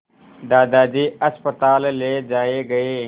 दादाजी अस्पताल ले जाए गए